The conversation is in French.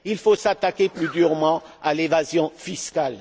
Il faut s'attaquer plus durement à l'évasion fiscale.